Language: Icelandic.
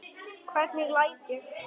Hvernig læt ég!